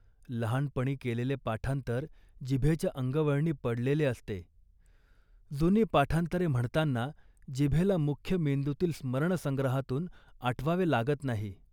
लहानपणी केलेले पाठांतर जिभेच्या अंगवळणी पडलेले असते. जुनी पाठांतरे म्हणताना जिभेला मुख्य मेंदूतील स्मरणसंग्रहातून आठवावे लागत नाही